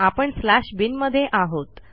आपणslash bin मध्ये आहोत